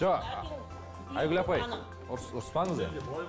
ааа айгүл апай ұрыспаңыз енді